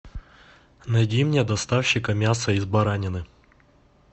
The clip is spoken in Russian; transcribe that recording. найди мне доставщика мясо из баранины